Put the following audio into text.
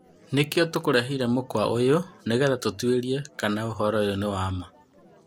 Nĩkio tũkureheire mũkwa ũyũ nĩgetha tũtuĩrie kana ũhoro ũyũ nĩ wa maa.